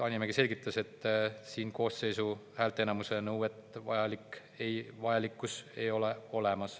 Hanimägi selgitas, et siin koosseisu häälteenamuse nõuet ei ole.